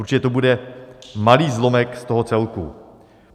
Určitě to bude malý zlomek z toho celku.